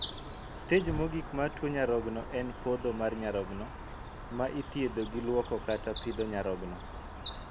Stej mogik mar tuo nyarogno en podho mar nyarogno, ma ithiedho gi luoko kata pidho nyarogno.